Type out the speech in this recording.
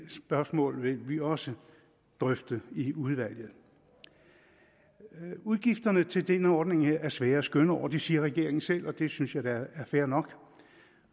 spørgsmål vil vi også drøfte i udvalget udgifterne til denne ordning er svære skøn over det siger regeringen selv og det synes jeg da er fair nok